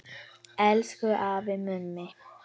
Elsku afi Mummi.